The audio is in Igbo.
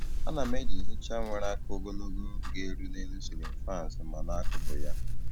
A na m eji nhicha nwere aka ogologo ga - eru n'elu ceiling faans ma na akụkụ ya